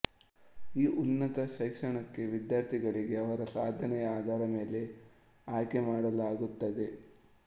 ಈ ಉನ್ನತ ಶೈಕ್ಷಣಕೆ ವಿದ್ಯಾರ್ಥಿಗಳಿಗೆ ಅವರ ಸಾಧನೆಯ ಆಧಾರದ ಮೇಲೆ ಆಯ್ಕೆ ಮಾಡಲಾಗುತ್ತದೆ